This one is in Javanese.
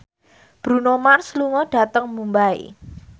Bruno Mars lunga dhateng Mumbai